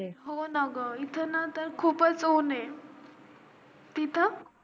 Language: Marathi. हो ना ग इथे तर खूपच ऊन ऐ तिथं?